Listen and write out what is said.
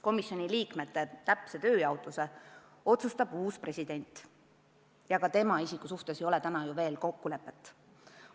Komisjoni liikmete täpse tööjaotuse otsustab uus president ja ka tema isiku suhtes ei ole ju veel kokkulepet.